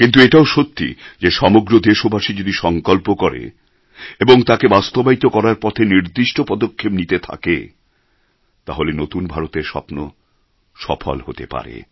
কিন্তু এটাও সত্যি যে সমগ্র দেশবাসী যদি সংকল্প করে এবং তাকে বাস্তবায়িত করার পথে নির্দিষ্ট পদক্ষেপ নিতে থাকে তাহলে নতুন ভারতের স্বপ্ন সফল হতে পারে